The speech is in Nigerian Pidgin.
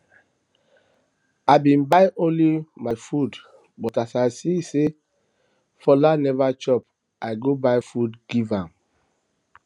i bin buy only my food but as i see say fola um never chop i go buy food give am um